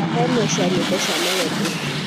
thaka ĩmwe cĩa nyĩmbo cĩa melody